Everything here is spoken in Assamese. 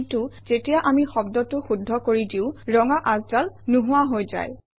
কিন্তু যেতিয়া আমি শব্দটো শুদ্ধ কৰি দিওঁ ৰঙা আচডাল নোহোৱা হৈ যায়